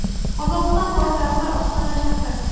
Qozog‘iston poytaxti Ostona shahri.